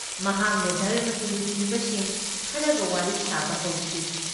ꯃꯍꯥꯛꯅ ꯙꯔꯝꯃꯒꯤ ꯂꯨꯆꯤꯡꯕꯁꯤꯡ ꯈꯔꯒ ꯋꯥꯔꯤ ꯁꯥꯕ ꯍꯧꯈꯤ